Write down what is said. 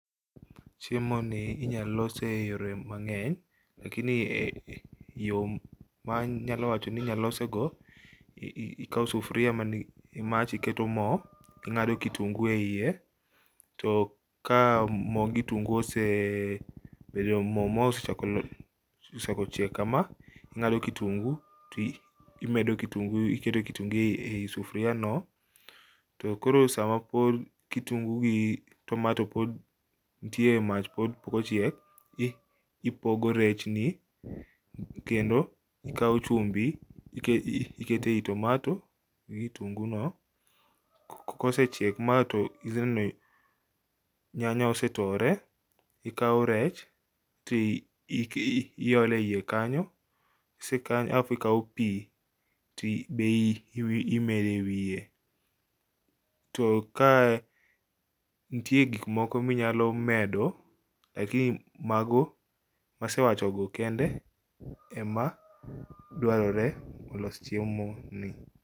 Chiemo ni inyalose e yore mang'eny, lakini yo ma anyalo wacho ni inyalose go, ikawo sufria mani imach iketo mo. Ing'ado kitungu e iye, to ka mo gi tungu osebdo mo ma osechako chiek kama, ing'ado kitungu to imedo kitungu iketo kitungu ei sufria no. To koro samapod kitungu gi tomato pod ntie e mach pod pok ochiek, ipogo rechni kendo ikawo chumbi ikete i tomato gi kitungu no. Kosechiek ma to idhineno nyanya osetore, ikawo rech to iolo e iye kanyo. Kise kanyo alaf ikawo pi be imede wiye. To ka ntie gik moko minyalo medo, lakini mago masewachogo kende ema dwarore olos chiemo ni.